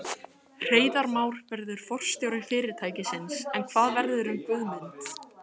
Hreiðar Már verður forstjóri fyrirtækisins en hvað verður um Guðmund?